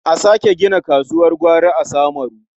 A sake gina kasuwar gwari a Samaru.